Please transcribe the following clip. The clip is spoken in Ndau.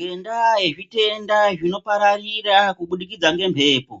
Ngendaa yezvitenda zvinopararira kubudikidza ngemhepo